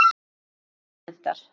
Hvernig bíll hentar?